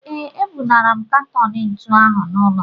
Ee, ebunara m katọn ntu ahụ n'ụlọ